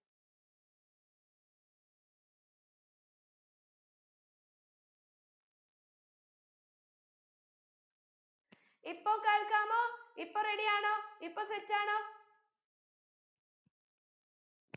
ഇപ്പൊ കേൾക്കാമോ ഇപ്പൊ ready യാണോ ഇപ്പൊ set ആണോ